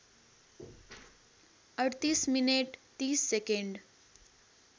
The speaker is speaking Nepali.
३८ मिनेट ३० सेकेन्ड